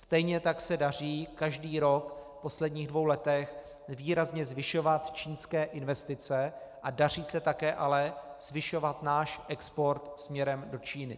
Stejně tak se daří každý rok v posledních dvou letech výrazně zvyšovat čínské investice a daří se také ale zvyšovat náš export směrem do Číny.